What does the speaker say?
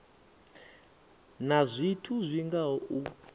na zwithu zwi ngaho u